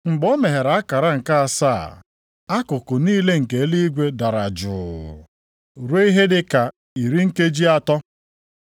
Mgbe o meghere akara nke asaa, akụkụ niile nke eluigwe dara jụụ ruo ihe dị ka iri nkeji atọ.